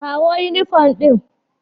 Kawo yunifom ɗin.